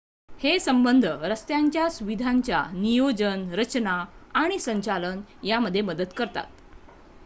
हे संबंध रस्त्याच्य सुविधांच्या नियोजन रचना आणि संचालन यामध्ये मदत करतात